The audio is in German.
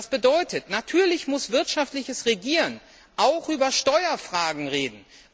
Das bedeutet natürlich wirtschaftliches Regieren und auch über Steuerfragen reden.